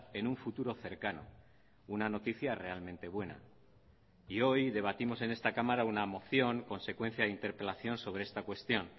en un futuro cercano una noticia realmente buena y hoy debatimos en esta cámara una moción consecuencia de interpelación sobre esta cuestión